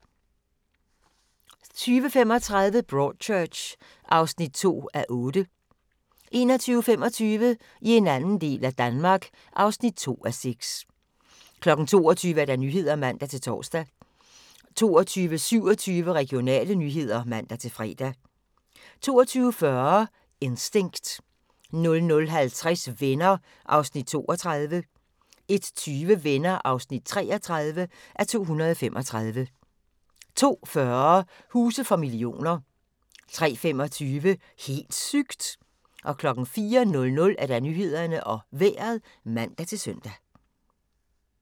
20:35: Broadchurch (2:8) 21:25: I en anden del af Danmark (2:6) 22:00: Nyhederne (man-tor) 22:27: Regionale nyheder (man-fre) 22:40: Instinct 00:50: Venner (32:235) 01:20: Venner (33:235) 02:40: Huse for millioner 03:25: Helt sygt! 04:00: Nyhederne og Vejret (man-søn)